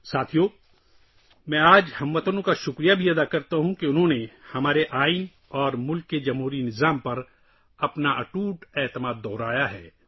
دوستو، آج میں ہم وطنوں کا شکریہ بھی ادا کرتا ہوں کہ انہوں نے ہمارے آئین اور ملک کے جمہوری نظام پر اپنے غیر متزلزل یقین کا اعادہ کیا ہے